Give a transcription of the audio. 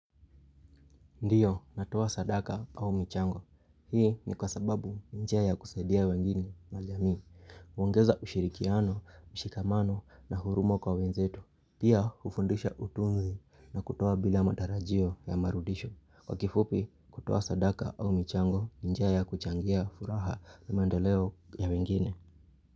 Ndio, natoa sadaka au michango. Hii ni kwa sababu njia ya kusaidia wengine na jamii. Huongeza ushirikiano, mshikamano na huruma kwa wenzetu. Pia, hufundisha utunzi na kutoa bila matarajio ya marudisho. Kwa kifupi, kutoa sadaka au michango ni njia ya kuchangia furaha na mandeleo ya wengine.